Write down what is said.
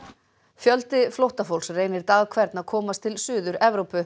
fjöldi flóttafólks reynir dag hvern að komast til Suður Evrópu